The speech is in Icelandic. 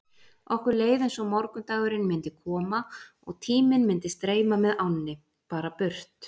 Okkur leið eins og morgundagurinn myndi koma og tíminn myndi streyma með ánni, bara burt.